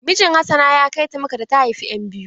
Mijin hassana ya kai ta makka da ta haifa ƴan biyu.